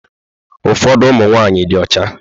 Ụfọdụ ụmụ nwaanyị dị ọcha.